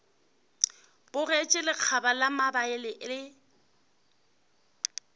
bogetše lekgaba la mabele le